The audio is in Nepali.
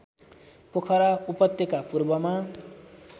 पोखरा उपत्यका पूर्वमा